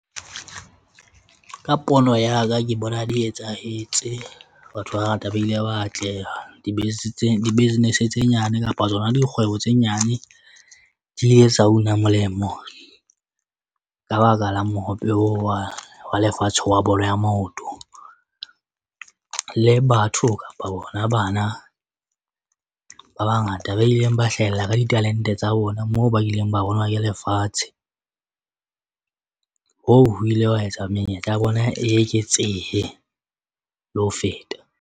Ka pono ya ka ke bona di etsahetse. Batho ba bangata ba ile ba atleha di-business tse nyane kapa tsona dikgwebo tse nyane di ile etsa una molemo ka baka la mohope oo wa lefatshe wa bolo ya maoto. Le batho kapa bona bana ba bangata ba ileng ba hlahella ka ditalente tsa bona moo ba ileng ba bonwa ke lefatshe. Hoo ho ile wa etsa menyetla ya bona e eketsehe le ho feta.